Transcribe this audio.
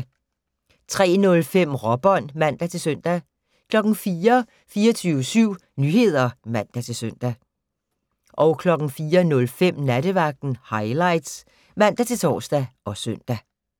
03:05: Råbånd (man-søn) 04:00: 24syv Nyheder (man-søn) 04:05: Nattevagten Highlights (man-tor og søn)